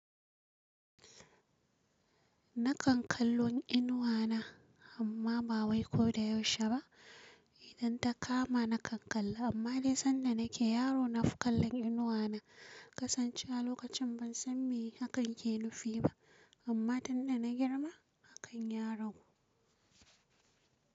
Nakan kallon inuwa na amma ba wai ko da yaushe ba idan ta kama na kalla amma dai sanda nake yaro nafi kallon inuwa na Kasancewa lokacin ban san me hakan ke nufi ba amma tunda na girma hakan ya ragu.